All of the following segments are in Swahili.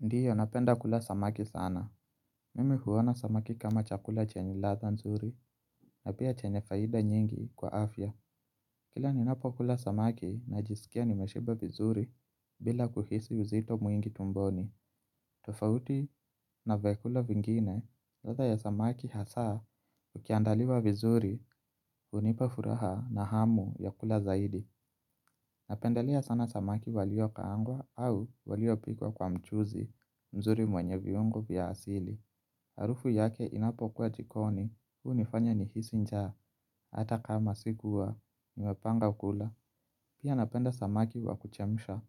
Ndiyo napenda kula samaki sana. Mimi huwona samaki kama chakula chenye latha nzuri na pia chenye faida nyingi kwa afya. Kila ninapo kula samaki najisikia nimeshiba vizuri bila kuhisi uzito muingi tumboni. Tufauti na vyakula vingine latha ya samaki hasa ukiandaliwa vizuri. Unipa furaha na hamu ya kula zaidi. Napendelea sana samaki walio kaangwa au walio pikwa kwa mchuzi mzuri mwenye viungo vya asili. Harufu yake inapokuwa jikoni. Unifanya nihisi nja. Ata kama sikuwa nimepanga kula. Pia napenda samaki wa kuchemisha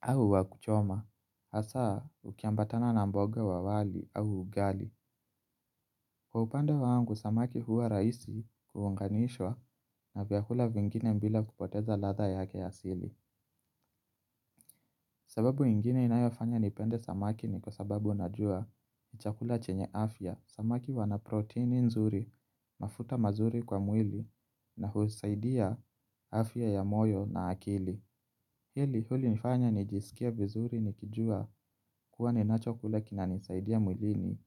au wakuchoma. Hasa ukiambatana na mboga wawali au ugali. Kwa upande wangu samaki huwa raisi kuunganishwa na vyakula vingine mbila kupoteza latha yake ya asili. Sababu ingine inayofanya nipende samaki ni kwa sababu najua ni chakula chenye afya. Samaki wanaproteini nzuri mafuta mazuri kwa mwili na husaidia afya ya moyo na akili. Hili huli nifanya nijisikia vizuri nikijua kuwa ninacho kula kinanisaidia muilini.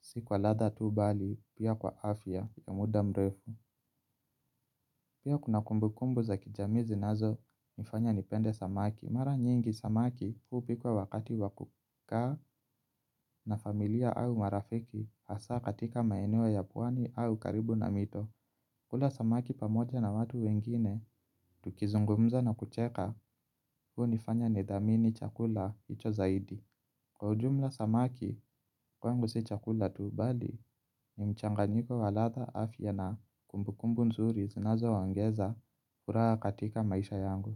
Siku kwa latha tu bali pia kwa afya ya muda mrefu. Pia kuna kumbu kumbu za kijami zinazo nifanya nipende samaki. Mara nyingi samaki huu pikwa wakati wakuka na familia au marafiki asa katika maenewo ya puwani au karibu na mito. Kula samaki pamoja na watu wengine, tukizungumza na kucheka. Huo nifanya nidamini chakula hicho zaidi. Kwa ujumla samaki kwangu si chakula tu bali nimchanganyiko walatha afya na kumbukumbu nzuri zinazo waongeza kura katika maisha yangu.